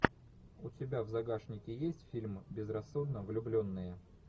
у тебя в загашнике есть фильм безрассудно влюбленные